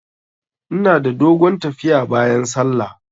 Ina da dogon tafiya bayan sallah.